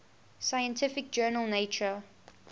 scientific journal nature